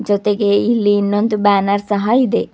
ಜೊತೆಗೆ ಇಲ್ಲಿ ಇನ್ನೊಂದ ಬ್ಯಾನರ್ ಸಹ ಇದೆ.